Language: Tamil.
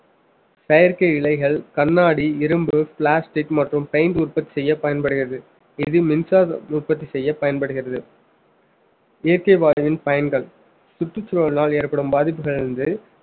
செயற்கை இலைகள் கண்ணாடி இரும்பு plastic மற்றும் paint உற்பத்தி செய்ய பயன்படுகிறது இது மின்சாரம் உற்பத்தி செய்ய பயன்படுகிறது இயற்கை வாயுவின் பயன்கள் சுற்றுச்சூழலால் ஏற்படும் பாதிப்புகளில் இருந்து